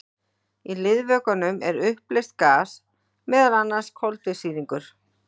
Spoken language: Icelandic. Í liðvökvanum er uppleyst gas, meðal annars koltvísýringur.